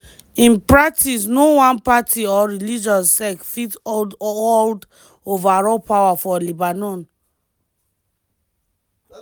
in practice no one party or religious sect fit hold hold overall power for lebanon.